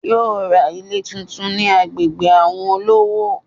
Yóò ra Ilé tuntun ni agbègbè àwon olówó